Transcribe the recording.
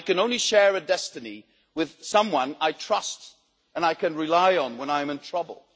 I can only share a destiny with someone I trust and can rely on when I'm in trouble.